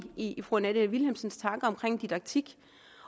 i fru annette vilhelmsens tanker om didaktik